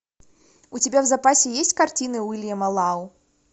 у тебя в запасе есть картины уильяма лау